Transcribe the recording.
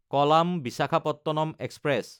কলাম–বিশাখাপট্টনম express